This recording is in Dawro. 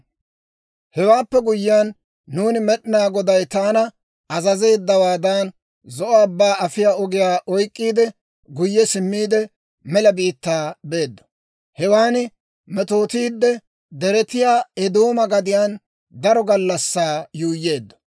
«Hewaappe guyyiyaan nuuni, Med'inaa Goday taana azazeeddawaadan, Zo'o Abbaa afiyaa ogiyaa oyk'k'iide, guyye simmiide, mela biittaa beeddo; hewan metootiidde, deretiyaa Eedooma gadiyaan daro gallassaa yuuyyeeddo.